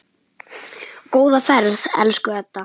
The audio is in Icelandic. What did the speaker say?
Góða ferð, elsku Edda.